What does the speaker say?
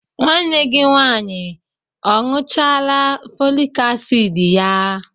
Nwanne gi nwanyi a añuchala folik asidi ya?